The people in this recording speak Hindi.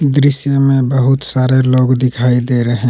दृश्य में बहुत सारे लोग दिखाई दे रहे--